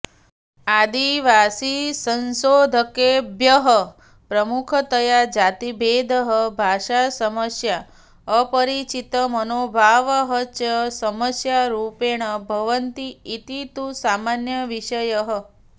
आदिवासिसंशोधकेभ्यः प्रमुखतया जातिभेदः भाषासमस्या अपरिचितमनोभावः च समस्यारूपेण भवन्ति इति तु सामान्य विषयः